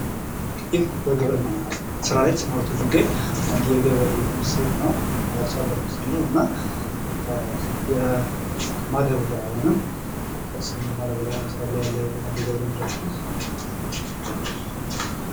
ይህ በግብርና ስራ ላይ የተሰማራ አንድ የገበሬ ምስል ነው። የአርሶ አድር ምስል ነው እና የማዳበሪያ ወይንም ማዳበሪያ በመስራት ላይ ያለ የገበሬ ምስል ነው።